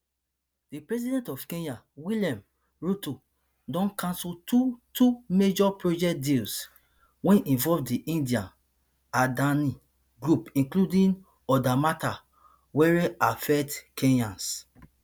di president of kenya william ruto don cancel two two major project deals wey involve di indian adani group including oda matters wery affect kenyans